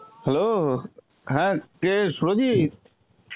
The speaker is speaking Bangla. hello, হ্যাঁ কে সুরজিত?